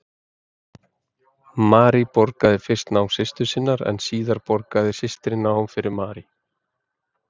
Marie borgaði fyrst nám systur sinnar en síðar borgaði systirin fyrir nám Marie.